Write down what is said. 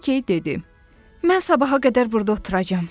Lakey dedi: "Mən sabaha qədər burda oturacam."